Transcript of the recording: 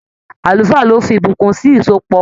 Àlùfáà ló fí ìbùkún sì ìsopọ̀ wọn.